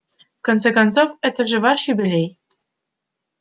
конце концов это же ваш юбилей